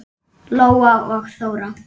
Lóa og Þóra.